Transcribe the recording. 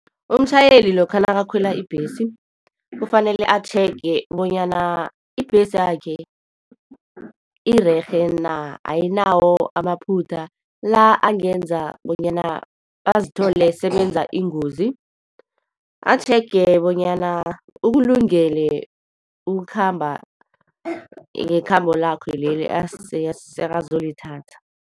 Umtjhayeli lokha nakakhwela ibhesi, kufanele atjhege bonyana ibhesi yakhe irerhe na, ayinawo amaphutha la angenza bonyana azithole sebenza ingozi, atjhege bonyana ukulungele ukukhamba ngekhambo lakho leli asekazolithatha.